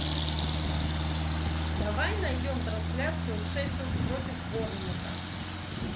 давай найдем трансляцию шеффилд против борнмута